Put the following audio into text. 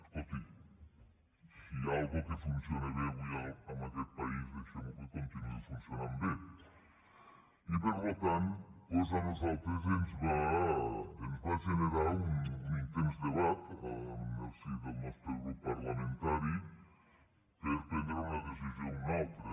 escolti’m si hi ha alguna cosa que funciona bé avui en aquest país deixemho que continuï funcionant bé i per tant doncs a nosaltres ens va generar un intens debat en el si del nostre grup parlamentari per prendre una decisió o una altra